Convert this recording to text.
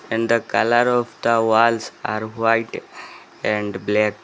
In the colour of the walls are white and black.